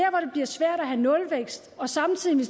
bliver svært at have nulvækst og samtidig